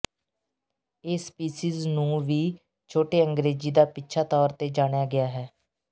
ਇਹ ਸਪੀਸੀਜ਼ ਨੂੰ ਵੀ ਛੋਟੇ ਅੰਗਰੇਜ਼ੀ ਦਾ ਪਿੱਛਾ ਤੌਰ ਤੇ ਜਾਣਿਆ ਗਿਆ ਹੈ